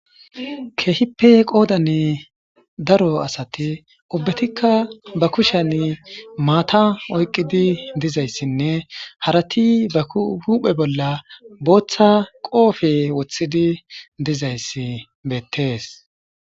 Keehipe qoodan daro asati ubbetikka ba kushan maata oyqqidi dizayssinne harati ba kuhuphe bolla booththa qoofe wothidi dizayssi beettees.